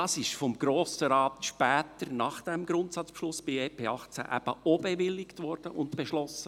Dies wurde vom Grossen Rat später, nach diesem Grundsatzbeschluss zum EP 2018, eben bewilligt und beschlossen.